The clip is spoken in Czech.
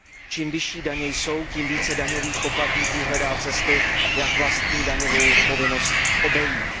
Čím vyšší daně jsou, tím více daňových poplatníků hledá cesty, jak vlastní daňovou povinnost obejít.